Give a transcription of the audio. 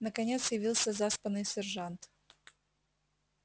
наконец явился заспанный сержант